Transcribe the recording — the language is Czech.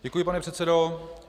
Děkuji, pane předsedo.